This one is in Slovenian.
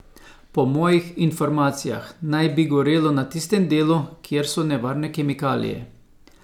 Po mojih informacijah naj ne bi gorelo na tistem delu, kjer so nevarne kemikalije.